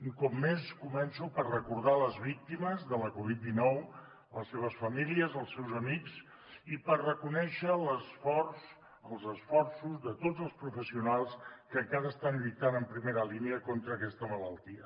un cop més començo per recordar les víctimes de la covid dinou les seves famílies els seus amics i per reconèixer l’esforç els esforços de tots els professionals que encara estan lluitant en primera línia contra aquesta malaltia